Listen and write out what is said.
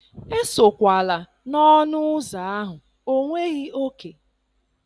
Esokwala n'ọnụ ụzọ ahụ, ọ nweghị òkè.